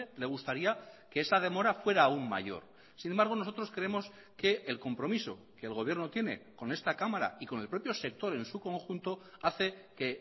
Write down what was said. le gustaría que esa demora fuera aún mayor sin embargo nosotros creemos que el compromiso que el gobierno tiene con esta cámara y con el propio sector en su conjunto hace que